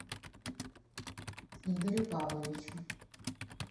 игорю павловичу